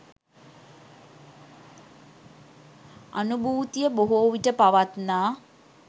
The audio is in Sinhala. අනුභූතිය බොහෝ විට පවත්නා